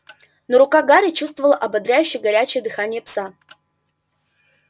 но рука гарри чувствовала ободряющее горячее дыхание пса